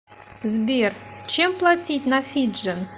сбер чем платить на фиджи